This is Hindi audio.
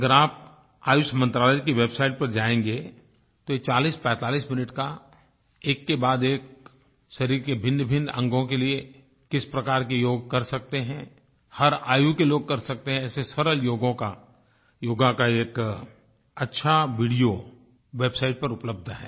अगर आप आयुष मंत्रालय की वेबसाइट पर जायेंगे तो 4045 मिनट का एककेबाद एक शरीर के भिन्नभिन्न अंगों के लिए किस प्रकार के योग कर सकते हैं हर आयु के लोग कर सकते हैं ऐसे सरल योगों का योग का एक अच्छा वीडियो वेबसाइट पर उपलब्ध है